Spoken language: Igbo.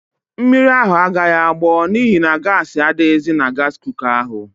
Mmiri ahụ agaghị agbọ n'ihi na gaasị adịghịzi na gaasị kuka ahụ.